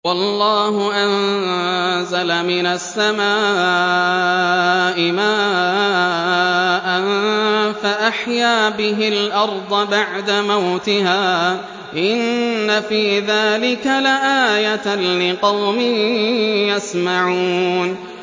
وَاللَّهُ أَنزَلَ مِنَ السَّمَاءِ مَاءً فَأَحْيَا بِهِ الْأَرْضَ بَعْدَ مَوْتِهَا ۚ إِنَّ فِي ذَٰلِكَ لَآيَةً لِّقَوْمٍ يَسْمَعُونَ